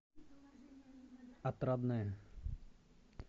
отрадное